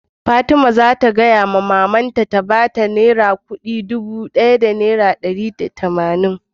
Fatima zata tambayi maman ta ta bata naira Dubu biyu da dari daya da tamanin